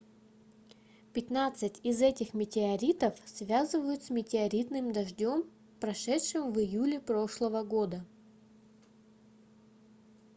пятнадцать из этих метеоритов связывают с метеоритным дождем прошедшим в июле прошлого года